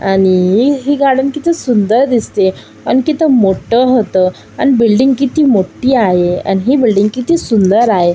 आणि ही ही गार्डन किती सुंदर दिसतेय आणि तित मठ होत आणि बिल्डिंग किती मोठी आहे आण हि बिल्डिंग किती सुंदर आहे.